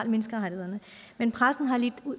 for menneskerettighederne men pressen har lidt